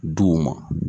Duw ma